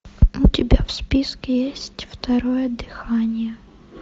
у тебя в списке есть второе дыхание